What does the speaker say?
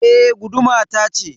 E, guduma tace